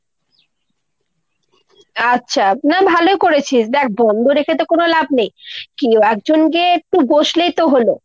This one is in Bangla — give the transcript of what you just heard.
আচ্ছা। না ভালো করেছিস, দ্যাখ বন্দ রেখে তো কোনো লাভ নেই। কেউ একজন গিয়ে একটু বসলেই তো হলো।